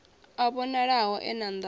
a vhonalaho e na nḓala